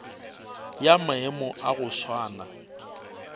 ya maemo a go swana